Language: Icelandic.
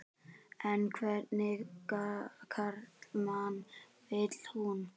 En hvernig karlmann vil hún?